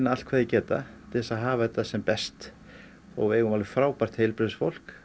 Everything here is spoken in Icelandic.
allt hvað þeir geta til þess að hafa þetta sem best við eigum alveg frábært heilbrigðisfólk